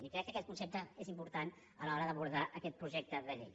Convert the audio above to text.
i crec que aquest concepte és important a l’hora d’abordar aquest projecte de llei